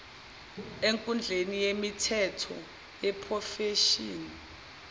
enkundla yemithetho yeprofeshini